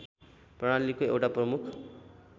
प्रणालीको एउटा प्रमुख